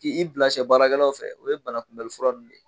K'i bila sɛ baarakɛlaw fɛ o ye banakunbɛli fura ninnu de ye